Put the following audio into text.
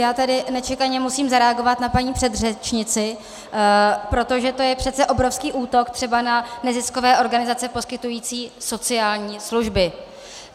Já tady nečekaně musím zareagovat na paní předřečnici, protože to je přece obrovský útok třeba na neziskové organizace poskytující sociální služby.